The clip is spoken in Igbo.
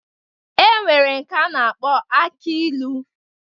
E nwere nke a na-akpọ aki ilu.